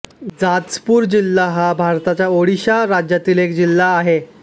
जाजपुर जिल्हा हा भारताच्या ओडिशा राज्यातील एक जिल्हा आहे